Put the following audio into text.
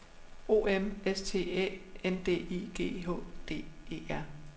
O M S T Æ N D I G H D E R